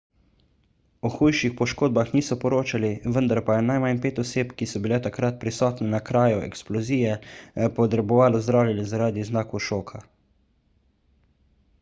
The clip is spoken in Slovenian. o hujših poškodbah niso poročali vendar pa je najmanj pet oseb ki so bile takrat prisotne na kraju eksplozije potrebovalo zdravljenje zaradi znakov šoka